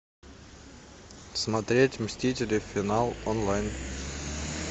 смотреть мстители финал онлайн